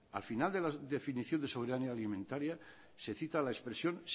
al final de la definición de soberanía alimentaria se cita la expresión